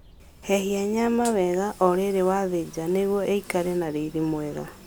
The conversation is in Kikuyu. Hehia nyama wega o rĩrĩ wathĩnja nĩguo ĩikare na riri mwega